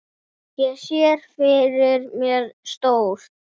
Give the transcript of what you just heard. Ég sé fyrir mér stór